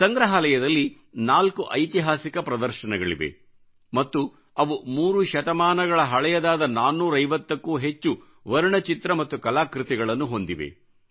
ಸಂಗ್ರಹಾಲಯದಲ್ಲಿ ನಾಲ್ಕು ಐತಿಹಾಸಿಕ ಪ್ರದರ್ಶನಗಳಿವೆ ಮತ್ತು ಅವು 3 ಶತಮಾನಗಳ ಹಳೆಯದಾದ 450 ಕ್ಕೂ ಹೆಚ್ಚು ವರ್ಣಚಿತ್ರ ಮತ್ತು ಕಲಾಕೃತಿಗಳನ್ನು ಹೊಂದಿವೆ